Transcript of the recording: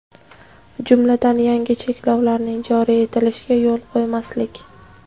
jumladan yangi cheklovlarning joriy etilishiga yo‘l qo‘ymaslik;.